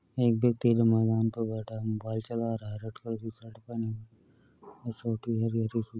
एक ब्यक्ति जो मैदान पर बैठा है। मोबाइल चला रहा है। रेड कलर की शर्ट पहने हुए है।